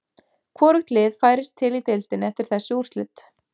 Hvorugt lið færist til í deildinni eftir þessi úrslit.